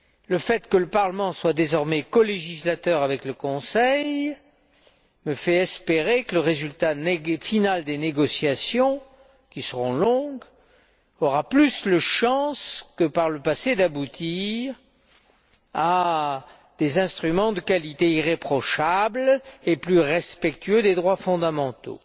Le fait que le Parlement soit désormais colégislateur avec le Conseil me fait espérer que le résultat final des négociations, qui seront longues, aura plus de chances que par le passé d'aboutir à des instruments de qualité irréprochable et plus respectueux des droits fondamentaux.